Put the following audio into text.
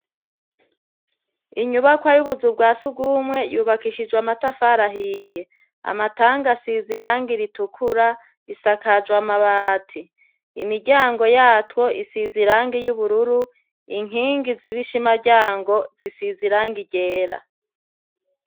Inyubakwa yubuzu bwa sugume yubakishijwe amatafari ahiye amatangi asize irangi ritukura isakajwe amabati imiryango yatwo isize irangi ryubururu inkingi ziri ibishima ryayo zisize irangi ryera